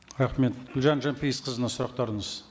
рахмет гүлжан жанпейісқызына сұрақтарыңыз